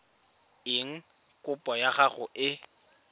eng kopo ya gago e